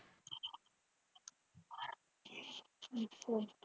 ਅੱਛਾ।